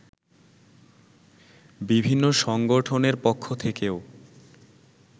বিভিন্ন সংগঠনের পক্ষ থেকেও